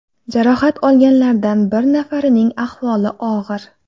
Jarohat olganlardan bir nafarining ahvoli og‘ir.